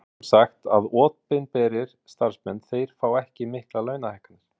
Sem sagt að opinberir starfsmenn þeir fá ekki miklar launahækkanir?